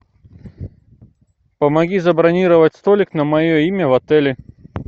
помоги забронировать столик на мое имя в отеле